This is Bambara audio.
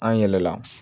An yɛlɛla